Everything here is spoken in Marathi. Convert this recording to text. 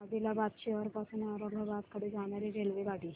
आदिलाबाद शहर पासून औरंगाबाद कडे जाणारी रेल्वेगाडी